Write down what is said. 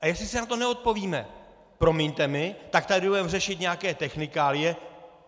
A jestli si na to neodpovíme, promiňte mi, tak tady budeme řešit nějaké technikálie.